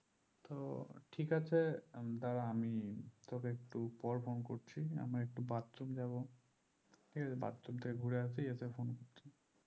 তো ঠিক আছে তাহলে আমি তোকে একটু পর phone করছি আমি একটু bathroom যাবো ঠিক আছে bathroom থেকে ঘুরে আসি এসে phone করছি